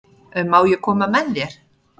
Má ég koma með þér?